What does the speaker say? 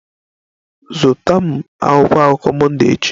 Zụta m akwụkwọ akụkọ Monday echi!